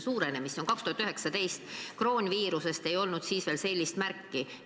See oli nii 2019, kui kroonviirusest ei olnud veel märki.